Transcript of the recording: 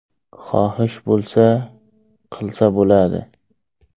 Xohish bo‘lsa, qilsa bo‘ladi.